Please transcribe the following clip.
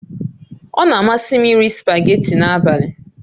Ọ na-amasị m iri spageetí n'abalị